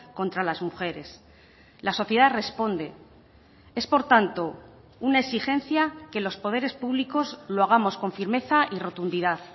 contra las mujeres la sociedad responde es por tanto una exigencia que los poderes públicos lo hagamos con firmeza y rotundidad